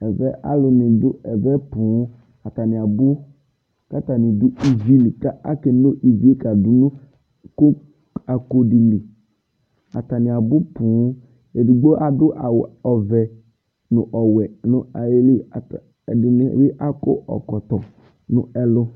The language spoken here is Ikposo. ɛvɛ alu ni du ɛvɛ boo atani abu katani ivi li ka ke nu ivie kadunu iko di li atani abu boo edigbo adu awu ɔvɛ nu ɔwɛ nu ayiliedini bi akɔ ɔkɔtɔ nu ɛlu